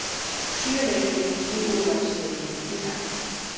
Sjö leikir í úrvalsdeildinni í dag